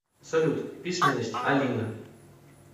салют письменность алина